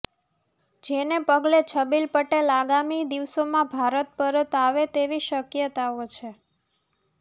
જેને પગલે છબીલ પટેલ આગામી દિવસોમાં ભારત પરત આવે તેવી શક્યતાઓ છે